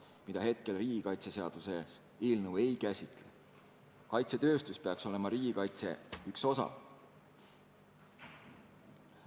Praegu seda riigikaitseseaduse eelnõu ei käsitle, aga kaitsetööstus peaks ju olema riigikaitse osa.